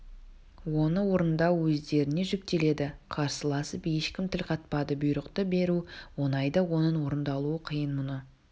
оны орындау өздеріңе жүктеледі қарсыласып ешкім тіл қатпады бұйрықты беру оңай да оның орындалуы қиын мұны